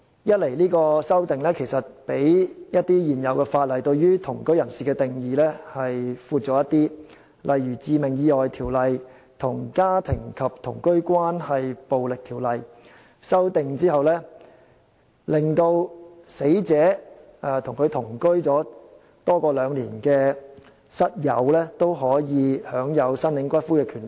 一來這項修訂對同居人士的定義較一些現行法例更為廣闊，例如參考《致命意外條例》與《家庭及同居關係暴力條例》作出修訂後，與死者同居多於兩年的室友也可享有申領骨灰的權利。